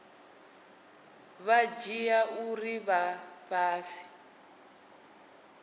vha dzhia uri vha fhasi